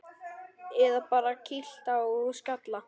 Eða bara kýlt á skalla!